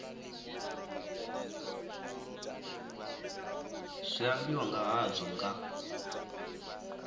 zwi ambiwa nga hazwo nga